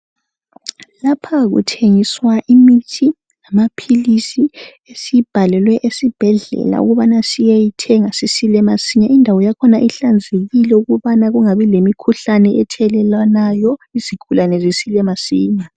Lapha kuthengiswa imithi lamaphilisi esiyibhalelwe esibhedlela ukubana siyeyithenga sisile masinya. Indawo yakhona ihlanzekile ukubana kungabi lemkhuhlane ethelelwanayo izigulane zisile masinya.